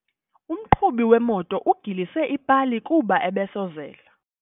Umqhubi wemoto ugilise ipali kuba ebesozela.